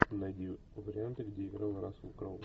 найди варианты где играл рассел кроу